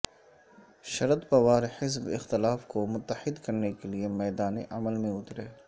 شردپوار حزب اختلاف کو متحد کرنے کے لیے میدان عمل میں اترے